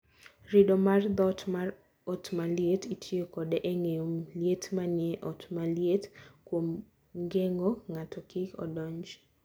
Rido mar dhoot mar ot maliet: Itiyo kode e geng'o liet manie ot maliet kuom geng'o ng'ato kik odonj